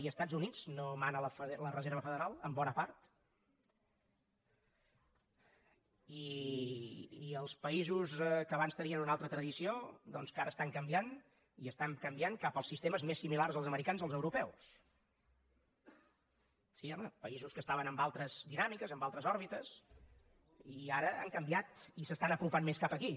i als estats units no mana la reserva federal en bona part i als països que abans tenien una altra tradició doncs que ara estan canviant i estan canviant cap als sistemes més similars als americans o els europeus sí home països que estaven amb altres dinàmiques amb altres òrbites i ara han canviat i s’estan apropant més cap aquí